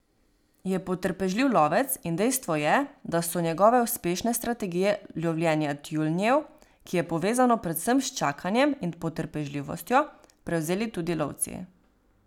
Je potrpežljiv lovec in dejstvo je, da so njegove uspešne strategije lovljenja tjulnjev, ki je povezano predvsem s čakanjem in potrpežljivostjo, prevzeli tudi lovci.